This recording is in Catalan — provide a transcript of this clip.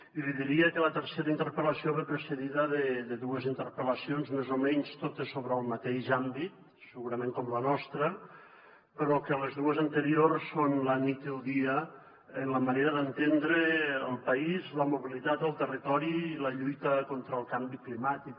i li diria que la tercera interpel·lació ve precedida de dues interpel·lacions més o menys totes sobre el mateix àmbit segurament com la nostra però que les dues anteriors són la nit i el dia en la manera d’entendre el país la mobilitat al territori i la lluita contra el canvi climàtic